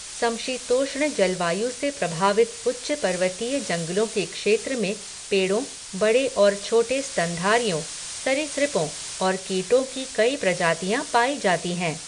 समशीतोष्ण जलवायु से प्रभावित उच्च पर्वतीय जंगलों के क्षेत्र में पेड़ों, बड़े और छोटे स्तनधारियों, सरीसृपों और कीटों की कई प्रजातियाँ पाई जाती हैं।